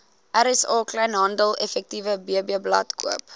rsa kleinhandeleffektewebblad koop